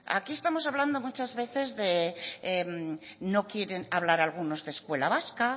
aquí estamos hablando muchas veces de no quieren hablar algunos de escuela vasca